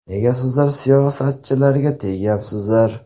Nega sizlar siyosatchilarga tegyapsizlar?!